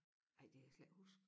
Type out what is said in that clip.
Ej det kan jeg slet ikke huske